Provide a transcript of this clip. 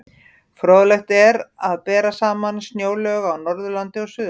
Fróðlegt er að bera saman snjóalög á Norðurlandi og Suðurlandi.